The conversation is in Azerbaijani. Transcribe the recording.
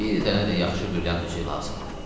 Bir dənə də yaxşı brilyant üzüyü lazımdır.